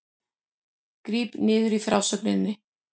Gríp niður í frásögninni